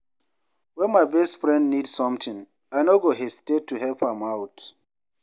When my best friend need something, I no go hesitate to help am out.